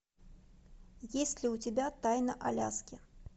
есть ли у тебя тайна аляски